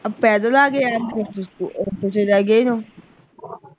ਆਹ ਪੈਦਲ ਆ ਕੇ